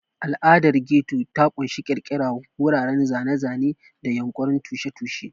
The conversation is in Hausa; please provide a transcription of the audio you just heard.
Al'adar Ghetto ta ƙunshi ƙirƙira, wuraren zane-zane, da yunƙurin tushen tushe.